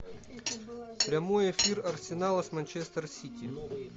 прямой эфир арсенала с манчестер сити